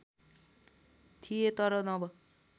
थिए तर नव